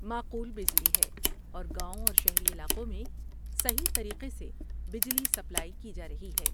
معقول بجلی ہے اور گاؤں اور شہری علاقوں میں صحیح طریقے سے بجلی سپلائی کی جا رہی ہے ۔